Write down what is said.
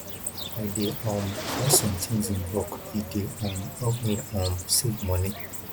i dey um buy sometins in bulk e dey um help me um save moni